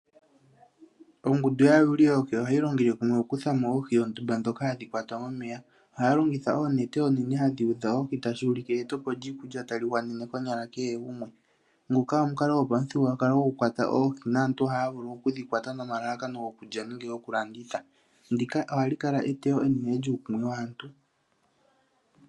Ongundu yaayuli yoohi ohayi longele kumwe okukuthamo oohi ondumba ndhoka hadhi kwatwa momeya. Ohaya longitha oonete hadhi udha oohi, tashi ulike e etepo lyiikulya tayi gwanene konyala kehe gumwe. Nguka omukalo gwopamuthigululwakalo gwokukwata oohi, naaatu ohaya vulu okudhi kwata nomalalakano gokulya nenge gokulanditha. Ndika ohali kala eteyo enene.